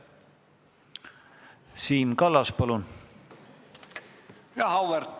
Siim Kallas, palun!